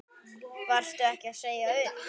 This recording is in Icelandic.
Varstu ekki að segja upp?